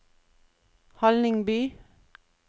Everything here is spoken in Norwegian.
Hallingby